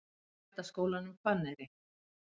Bændaskólanum Hvanneyri